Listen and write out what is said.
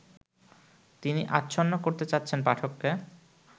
তিনি আচ্ছন্ন করতে চাচ্ছেন পাঠককে